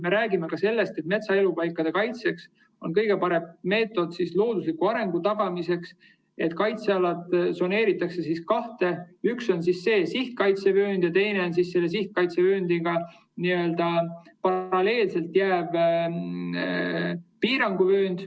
Me räägime ka sellest, et metsaelupaikade kaitsel on kõige parem meetod loodusliku arengu tagamiseks see, et kaitsealad tsoneeritakse kaheks: üks on sihtkaitsevöönd ja teine on selle sihtkaitsevööndiga n‑ö paralleelselt olev piiranguvöönd.